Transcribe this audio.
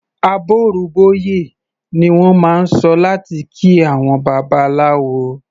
"Àbọrú bọyè" ni wọ́n máa ń sọ láti kí àwọn Babaláwo.